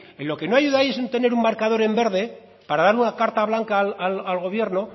en lo que no ayudáis en tener un marcador en verde para dar una carta blanca al gobierno